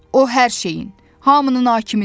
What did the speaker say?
O hər şeyin, hamının hakimidir.